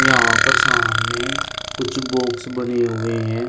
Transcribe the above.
यहाँ पर सामने कुछ बॉक्स बने हुए हैं